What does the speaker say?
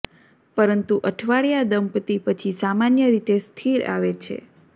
પરંતુ અઠવાડિયા દંપતી પછી સામાન્ય રીતે સ્થિર આવે છે